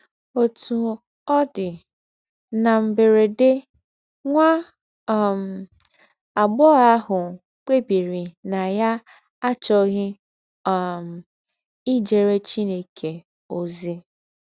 Òtú ọ̀ dì, nà m̀bèrèdè, nwá um àgbóghọ̀ àhù kpébìrì nà yá àchọ̀ghí um ìjéré Chineke ózí.